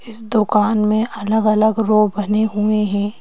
इस दुकान में अलग-अलग रो बने हुए हैं।